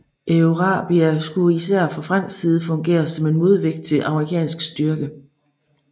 Eurabia skulle i sær fra fransk side fungere som en modvægt til amerikansk styrke